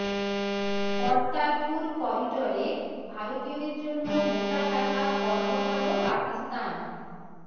কর্তারপুর করিডরে ভারতীয়দের জন্য মোটা টাকা কর বসাল পাকিস্তান